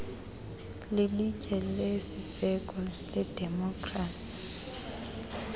lilitye lesiseko ledemokhrasi